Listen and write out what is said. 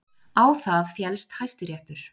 Á það féllst Hæstiréttur